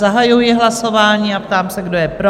Zahajuji hlasování a ptám se, kdo je pro.